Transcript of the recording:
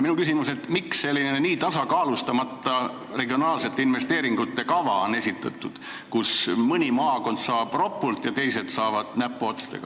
Minu küsimus on, miks on esitatud nii tasakaalustamata regionaalsete investeeringute kava, kus mõni maakond saab ropult raha ja teised saavad näpuotsaga.